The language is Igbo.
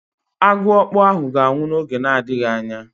Agụọkpu ahụ ga-anwụ n'oge na-adịghị anya.